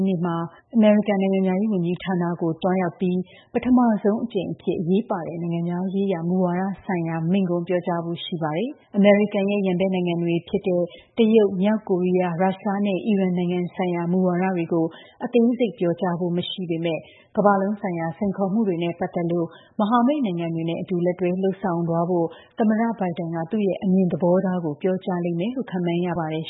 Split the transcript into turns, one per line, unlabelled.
းနေ့မှာ အမေရိကန်နိုင်ငံခြားရေးဝန်ကြီးဌာနကို သွားရောက်ပြီး ပထမဆုံး အကြိမ်အဖြစ် အရေးပါတဲ့ နိုင်ငံခြားရေး မူဝါဒဆိုင်ရာ မိန့်ခွန်း ပြောကြားဖို့ ရှိပါတယ်။ အမေရိကန်ရဲ့ ပြိုင်ဖက်နိုင်ငံတွေ ဖြစ်တဲ့ တရုတ်၊ မြောက်ကိုရီယား၊ ရုရှားနဲ့ အီရန် နိုင်ငံဆိုင်ရာမူဝါဒတွေကို အသေးစိတ် ပြောကြားဖို့ မရှိပေမဲ့ ကမ္ဘာလုံးဆိုင်ရာ စိန်ခေါ်မှုတွေနဲ့ ပတ်သက်လို့ မဟာမိတ်နိုင်ငံတွေနဲ့အတူ လက်တွဲလုပ်ဆောင်သွားဖို့ သမ္မတ Biden က သူ့ရဲ့ အမြင်သဘောထားကို ပြော
ကြားလိမ့်မယ်လို့ ခန့်မှန်းရပါတယ်